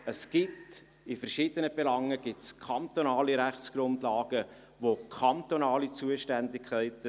Es gibt in verschiedenen Belangen kantonale Rechtsgrundlagen, und es bestehen kantonale Zuständigkeiten.